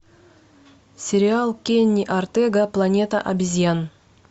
сериал кенни ортега планета обезьян